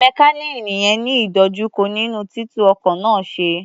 Mẹkáníìnì yẹn ń ní ìdojúkọ nínú títú ọkọ̀ náà ṣe.